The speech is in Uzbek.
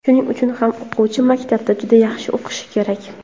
Shuning uchun ham o‘quvchi maktabda juda yaxshi o‘qishi kerak.